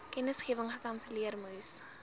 kennisgewing gekanselleer moes